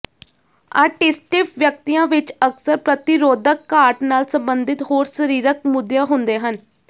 ਆਟਿਸਟਿਵ ਵਿਅਕਤੀਆਂ ਵਿੱਚ ਅਕਸਰ ਪ੍ਰਤੀਰੋਧਕ ਘਾਟ ਨਾਲ ਸਬੰਧਿਤ ਹੋਰ ਸਰੀਰਕ ਮੁੱਦਿਆ ਹੁੰਦੇ ਹਨ